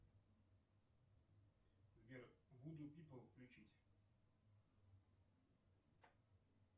сбер вуду пипл включить